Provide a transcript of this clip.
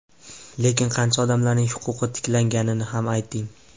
Lekin qancha odamlarning huquqi tiklanganini ham ayting.